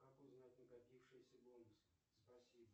как узнать накопившиеся бонусы спасибо